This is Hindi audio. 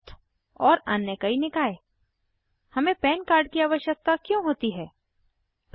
ट्रस्ट और अन्य कई निकाय हमें पन कार्ड की आवश्यकता क्यों होती है160